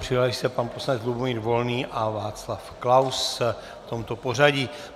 Přihlásili se pan poslanec Lubomír Volný a Václav Klaus v tomto pořadí.